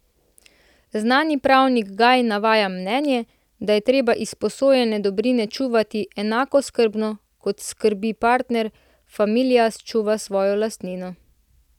Znani pravnik Gaj navaja mnenje, da je treba izposojene dobrine čuvati enako skrbno, kot skrbni pater familias čuva svojo lastnino.